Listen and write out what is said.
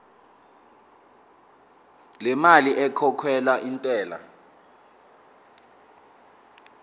lemali ekhokhelwa intela